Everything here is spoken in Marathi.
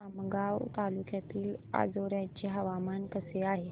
आमगाव तालुक्यातील अंजोर्याचे हवामान कसे आहे